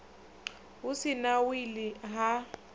hu si na wili ha